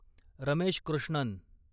Ramesh Krishnan